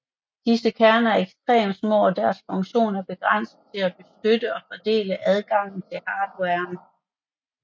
Disse kerner er ekstremt små og deres funktion er begrænset til at beskytte og fordele adgangen til hardwaren